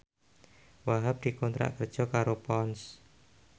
Wahhab dikontrak kerja karo Ponds